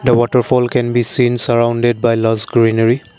the waterfall can be seen surrounded by lots greenery.